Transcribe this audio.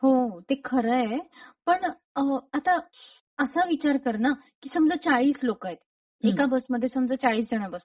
हो ते खरंय पण अ.. आता असा विचार करना समजा चाळीस लोकयत् एका बसमध्ये समजा चाळीस जण बसतात.